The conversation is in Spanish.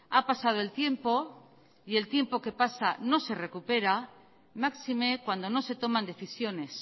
ha pasado el tiempo y el tiempo que pasa no se recupera máxime cuando no se toman decisiones